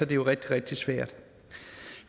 det jo rigtig rigtig svært